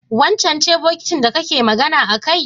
wancan ce bokitin da kake magana akai?